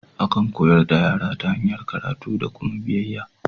Akan koyar da yara ta hanyar karatu da kuma biyayya.